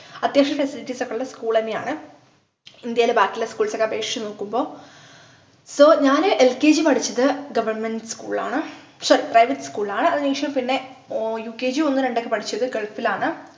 അത്യാവശ്യം facilities ഒക്കെയുള്ള school ന്നെയാണ് ഇന്ത്യയിലെ ബാക്കിയുള്ള schools ക്കെ അപേക്ഷിച്ചു നോക്കുമ്പോ so ഞാന് lkg പഠിച്ചത് government school ലാണ് sorry private school ലാണ് അതിനുശേഷം പിന്നെ ukg ഒന്ന് രണ്ടൊക്കെ പഠിച്ചത് ഗൾഫിലാണ്